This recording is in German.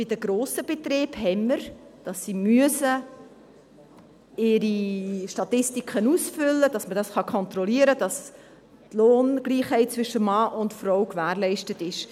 Bei den grossen Betrieben ist es so, dass diese ihre Statistiken ausfüllen müssen, damit man kontrollieren kann, dass die Lohngleichheit zwischen Mann und Frau gewährleistet ist.